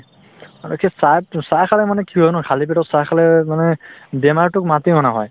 মানে সেই চাহতো চাহ খালে মানে কি হয় ন খালী পেটত চাহ খালে মানে বেমাৰটোক মাতি অনা হয়